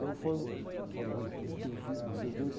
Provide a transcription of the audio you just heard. Aí o fono falou, olha, eu tenho ouvido vocês dois.